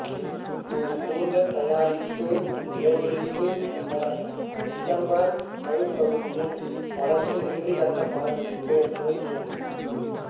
ஒரு நீண்ட தயாரிப்பு இடைவேளைக்குப் பின்னர் திசம்பர் நடுப்பகுதியில் படத்தின் இறுதிக்கட்டப் படப்பிடிப்பு துவங்கியது